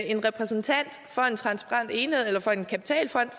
en repræsentant for en kapitalfond